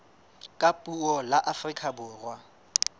ka puo la afrika borwa